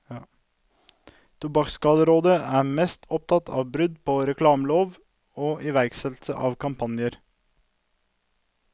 Tobakksskaderådet er mest opptatt av brudd på reklameloven og iverksettelse av kampanjer.